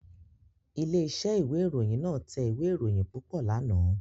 Ilé-iṣẹ́ ìwé-ìròyìn náà tẹ ìwé-ìròyìn púpọ̀ lánàá.